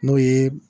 N'o ye